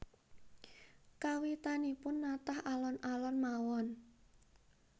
Kawitanipun natah alon alon mawon